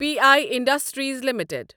P I industries limited